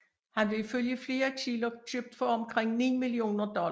Han blev ifølge flere kilder købt for omkring 9 millioner dollar